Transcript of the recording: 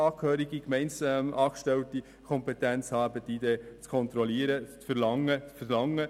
Hier sollen Gemeindeangestellte die Kompetenz haben, die Identität zu kontrollieren und einen Identitätsausweis zu verlangen.